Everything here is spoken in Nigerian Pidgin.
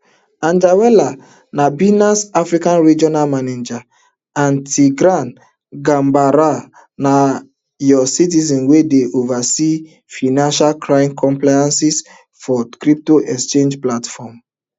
anjarwalla na binance africa regional manager and tigran gambaryan na us citizen wey dey oversee financial crime compliance for crypto exchange platform